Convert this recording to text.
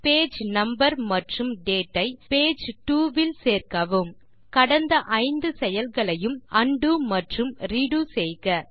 page number மற்றும் date ஐ page two வில் சேர்க்கவும் கடந்த ஐந்து செயல்களையும் உண்டோ மற்றும் ரெடோ செய்க